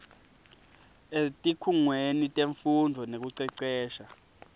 etikhungweni temfundvo nekucecesha